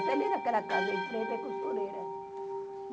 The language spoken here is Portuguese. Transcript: Até ali naquela casa, em frente, é costureira.